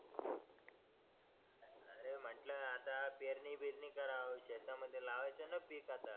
अरे म्हटलं आता पेरणी बिरणी करावं शेतामध्ये लावायचं ना पीक आता